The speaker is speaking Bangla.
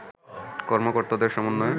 কর্মকর্তাদের সমন্বয়ে